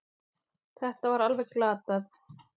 Þetta var alveg glatað.